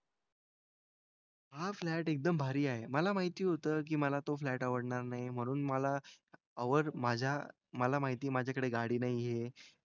हां फ्लॅट एकदम भारी आहे. मला माहिती होतं की मला तो फ्लॅट आवडणार नाही म्हणून मला हवंच माझ्या मला माहिती माझ्याकडे गाडी नाही आहे.